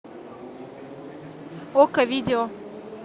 окко видео